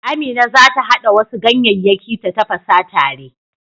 Amina za ta haɗa wasu ganyeyyaki ta tafasa tare.